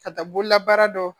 Ka taa bololabaara dɔn